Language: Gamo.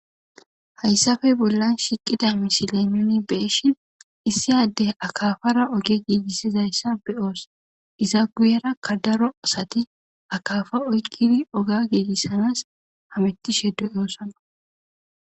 hayssafe bollan shiqida misile nuni beeshin issiyadde akafara oge giigissizayssa be'os iza guuyerakka daro asati akafa oygiri oga giigissanas hamittishe de'oosona